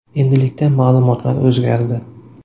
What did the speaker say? Endilikda ma’lumotlar o‘zgardi.